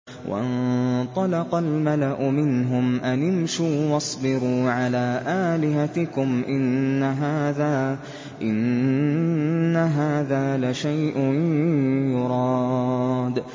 وَانطَلَقَ الْمَلَأُ مِنْهُمْ أَنِ امْشُوا وَاصْبِرُوا عَلَىٰ آلِهَتِكُمْ ۖ إِنَّ هَٰذَا لَشَيْءٌ يُرَادُ